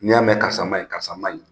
N'i y'a mɛn karisa man ɲi, karisa man ɲi.